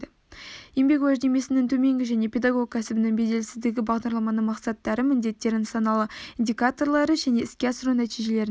еңбек уәждемесінің төмендігі және педагог кәсібінің беделсіздігі бағдарламаның мақсаттары міндеттері нысаналы индикаторлары және іске асыру нәтижелерінің